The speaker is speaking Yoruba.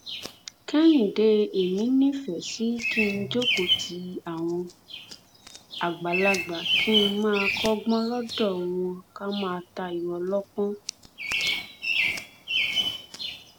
kẹhìndé èmi nífẹẹ sí kí n jókòó ti àwọn àgbàlagbà kí n máa kọgbọn lọdọ wọn ká máa tayọ ọlọpọn